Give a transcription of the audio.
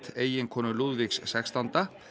eiginkonu Lúðvíks sextánda